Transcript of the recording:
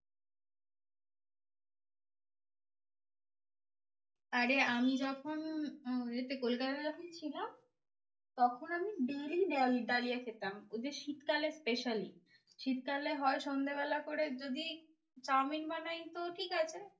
আরে আমি যখন এতে কোলকাতাতে যখন ছিলাম তখন আমি daily ডাল ডালিয়া খেতাম। ওই যে শীতকালে special. শীতকালে হয় সন্ধ্যেবেলা করে যদি চাউমিন বানাই তো ঠিকাছে।